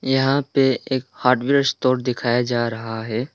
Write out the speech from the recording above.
यहां पे एक हार्डवेयर स्टोर दिखाया जा रहा है।